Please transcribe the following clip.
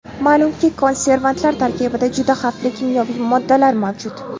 Ma’lumki, konservantlar tarkibida juda xavfli kimyoviy moddalar mavjud.